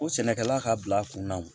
Ko sɛnɛkɛla ka bila a kunna